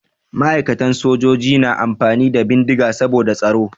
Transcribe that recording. Ma'aikatan sojoji na amfani da bindiga saboda tsaro.